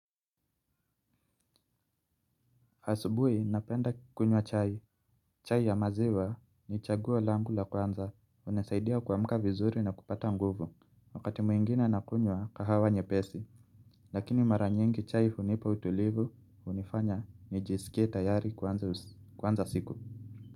Asubuhi napenda kunywa chai. Chai ya maziwa ni chaguo langu la kwanza. Unasaidia kuamka vizuri na kupata nguvu. Wakati mwingine nakunywa kahawa nyepesi. Lakini mara nyingi chai hunipa utulivu, hunifanya, nijisikie tayari kwanza siku.